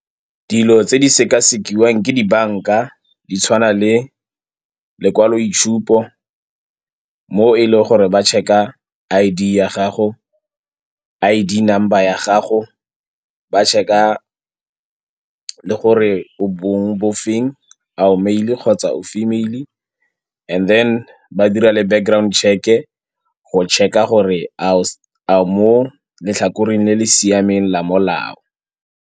Dilo tse di sekasekiwa ke dibanka di tshwana le lekwaloitshupo mo e leng gore ba check-a I_D ya gago, I_D number ya gago, ba check-a le gore o bongwe bo feng a o male-e kgotsa o female-e and then ba dira le background check-e, go check-a gore a o mo letlhakoreng le le siameng la molao.